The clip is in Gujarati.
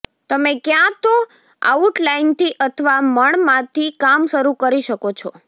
તમે ક્યાં તો આઉટલાઇનથી અથવા મણમાંથી કામ શરૂ કરી શકો છો